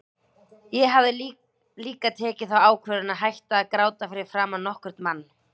Ég hafði líka tekið þá ákvörðun að hætta að gráta fyrir framan nokkurn mann.